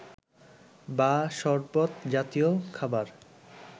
বা সরবত জাতীয় খাবার